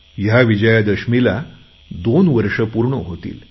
या विजयादशमीला दोन वर्षं पूर्ण होतील